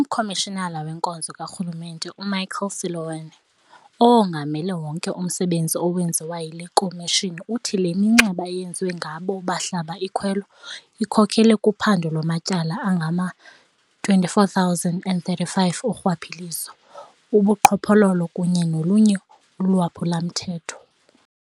UMkomishinala weNkonzo kaRhulumente u-Michael Seloane, owongamele wonke umsebenzi owenziwe yile komishoni uthi le minxeba eyenziwa ngabo bahlaba ikhwelo ikhokelele kuphando lwamatyala angama-24 035 orhwaphilizo, ubuqhophololo kunye nolunye ulwaphulomthetho.